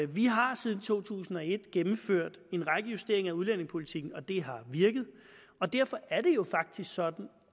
vi har siden to tusind og et gennemført en række justeringer af udlændingepolitikken og det har virket og derfor er det jo faktisk sådan